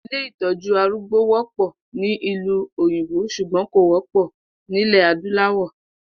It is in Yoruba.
Ilé ìtó̩jú arúgbó wó̩pò̩ ní ìlú òyìnbó s̩ùgbó̩n kò wó̩pò̩ nílè̩ adúláwò̩